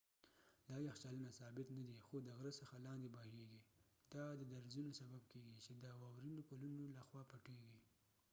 دا یخچالونه ثابت ندي خو د غره څخه لاندې بهیږي دا د درزونو سبب کیږي چې د واورینو پلونو لخوا پټیږي